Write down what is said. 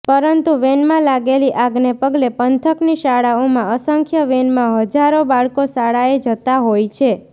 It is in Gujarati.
પરંતુ વેનમાં લાગેલી આગને પગલે પંથકની શાળાઓમાં અસંખ્ય વેનમાં હજારો બાળકો શાળાએ જતા હોય છે